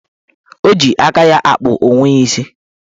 O ji aka ya akpụ onwe ya isi